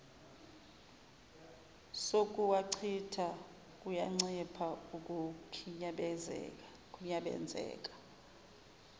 sokuwachitha kuyancipha ukukhinyabenzeka